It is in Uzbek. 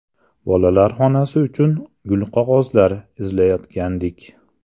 Bolalar xonasi uchun gulqog‘ozlar izlayotgandik.